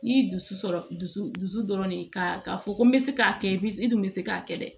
N'i dusu sɔrɔ dusu dusu dɔrɔn de ka fɔ ko n bɛ se k'a kɛ n dun bɛ se k'a kɛ dɛ